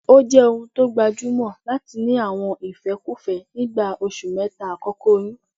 Ó jẹ́ ohun tó gbajúmọ̀ láti ní àwọn ìfẹ́kúfẹ́ nígbà oṣù mẹ́ta àkọ́kọ́ oyún